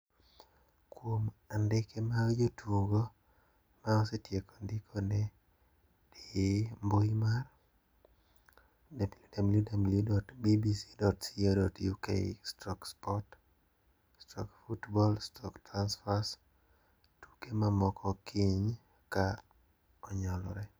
Kuom andike mag jotugo ma osetieko ndikore di http://www.bbc.co.uk/sport/football/transfers tuke mamoko kiny ka onyalore.